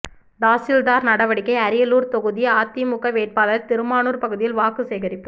தாசில்தார் நடவடிக்கை அரியலூர் தொகுதி அதிமுக வேட்பாளர் திருமானூர் பகுதியில் வாக்கு சேகரிப்பு